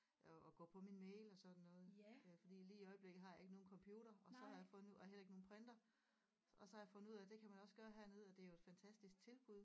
Og og gå på min mail og sådan noget øh fordi lige i øjeblikket har jeg ikke nogen computer og så har jeg for nu og heller ikke nogen printer og så har jeg fundet ud af at det kan man også gøre hernede og det er jo et fantastisk tilbud